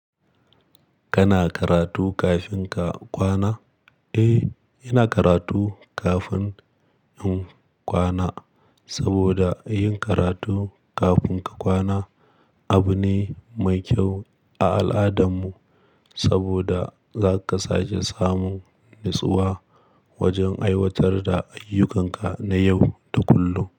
Kana karatu kafin ka kwana? Eh, ina karatu kafin in kwana saboda yin karatu kafin ka kwana abu ne mai kyau a al'adarmu saboda zaka sake samun natsuwa wajen aiwatar da ayyukanka na yau da kullum.